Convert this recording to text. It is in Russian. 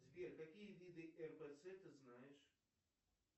сбер какие виды рпц ты знаешь